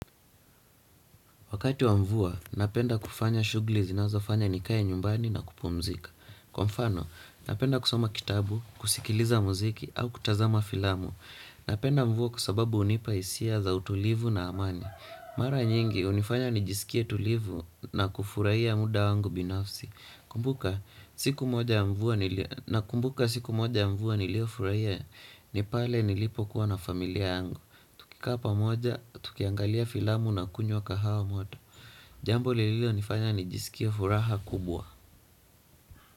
Wakati wa mvua, napenda kufanya shughli zinazo fanya nikae nyumbani na kupumzika. Kwa mfano, napenda kusoma kitabu, kusikiliza muziki, au kutazama filamu. Napenda mvua kwa sababu hunipa hisia za utulivu na amani. Mara nyingi, hunifanya nijisikie tulivu na kufurahia muda wangu binafsi. nakumbuka siku moja ya mvua nilio furahia ni pale nilipo kuwa na familia yangu. Tukikaa pamoja, tukiangalia filamu na kunywa kahawa moto jambo l lilo nifanya ni jisikie furaha kubwa.